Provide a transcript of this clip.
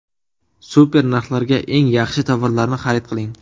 Super narxlarga eng yaxshi tovarlarni xarid qiling!